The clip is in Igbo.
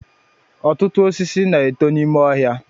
Ọtụtụ osisi na-eto n'ime ọhịa